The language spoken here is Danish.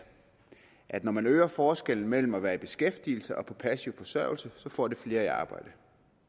at når man øger forskellen mellem at være i beskæftigelse og på passiv forsørgelse får det flere i arbejde